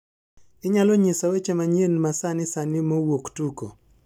Inyalo nyisa weche manyien masani sani mowuok tuko